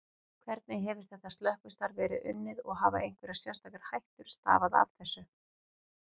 Hvernig hefur þetta slökkvistarf verið unnið og hafa einhverjar sérstakar hættur stafað af þessu?